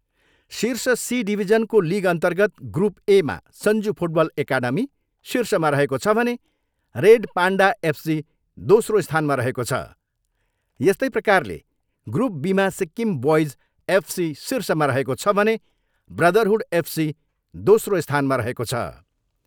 शिर्ष C डिभिजनको लिगअन्तर्गत group एमा सञ्जु फुटबल एकाडमी शिर्षमा रहेको छ भने रेड पान्डा एफसी दोस्रो स्थानमा रहेको छ, यस्तै प्रकारले ग्रुप बीमा सिक्किम बोइज एफसी शिर्षमा रहेको छ भने ब्रदरहुड एफसी दोस्रो स्थानमा रहेको छ।